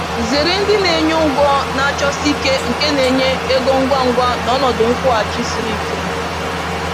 Zere ndị na-enye ụgwọ na-achọsi ike nke na-enye ego ngwa ngwa na ọnọdụ nkwụghachi siri ike